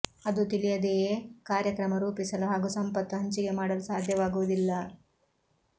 ಅದು ತಿಳಿಯದೆಯೇ ಕಾರ್ಯಕ್ರಮ ರೂಪಿಸಲು ಹಾಗೂ ಸಂಪತ್ತು ಹಂಚಿಕೆ ಮಾಡಲು ಸಾಧ್ಯವಾಗುವುದಿಲ್ಲ